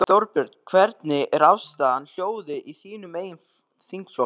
Þorbjörn: Hvernig er afstaðan, hljóðið í þínum eigin þingflokki?